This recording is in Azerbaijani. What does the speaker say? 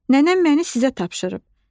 Nənəm məni sizə tapşırıb.